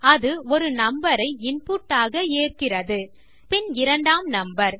அது ஒரு நம்பர் ஐ இன்புட் ஆக ஏற்கிறது பின் இரண்டாம் நம்பர்